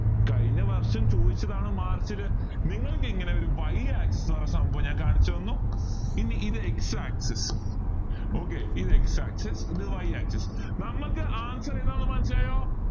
കഴിഞ്ഞവർഷം ചോദിച്ചതാണ് march ല് നിങ്ങൾക്ക് ഇങ്ങനെ ഒരു y axis ന്ന് പറയുന്ന സംഭവം കാണിച്ചുതന്നു ഇനി ഇത് x axis okay ഇത് x axis ഇത് y axis നമുക്കാവശ്യം ഏതാണെന്ന് മനസ്സിലായോ